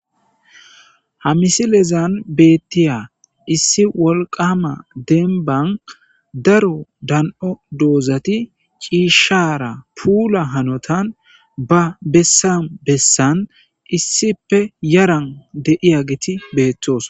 Ha misilezan beeththiya issi wolqqaama demban daro dan7o doozathi ciishshaara puula hanothan ba bessan bessan issippe yaran de7iyaageethi beeththoosona.